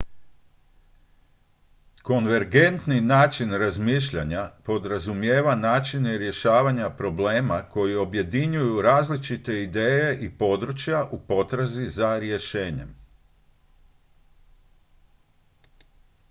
konvergentni način razmišljanja podrazumijeva načine rješavanja problema koji objedinjuju različite ideje i područja u potrazi za rješenjem